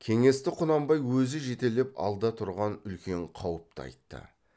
кеңесті құнанбай өзі жетелеп алда тұрған үлкен қауыпты айтты